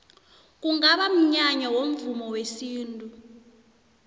kungaba mnyanya womvumo wesintu